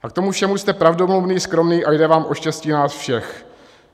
A k tomu všemu jste pravdomluvný, skromný a jde vám o štěstí nás všech.